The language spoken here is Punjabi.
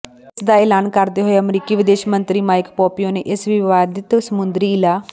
ਇਸ ਦਾ ਐਲਾਨ ਕਰਦੇ ਹੋਏ ਅਮਰੀਕੀ ਵਿਦੇਸ਼ ਮੰਤਰੀ ਮਾਈਕ ਪੋਂਪੀਓ ਨੇ ਇਸ ਵਿਵਾਦਿਤ ਸਮੁੰਦਰੀ ਇਲਾ